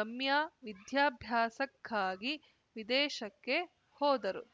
ರಮ್ಯಾ ವಿದ್ಯಾಭ್ಯಾಸಕ್ಕಾಗಿ ವಿದೇಶಕ್ಕೆ ಹೋದರು